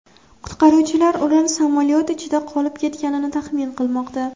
Qutqaruvchilar ular samolyot ichida qolib ketganini taxmin qilmoqda.